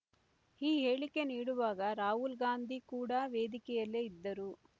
ಈ ಹೇಳಿಕೆ ನೀಡುವಾಗ ರಾಹುಲ್‌ಗಾಂಧಿ ಕೂಡ ವೇದಿಕೆಯಲ್ಲೇ ಇದ್ದರು